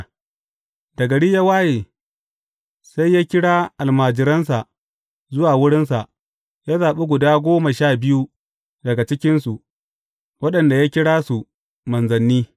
Da gari ya waye, sai ya kira almajiransa zuwa wurinsa, ya zaɓi guda goma sha biyu daga cikinsu, waɗanda ya kira su, Manzanni.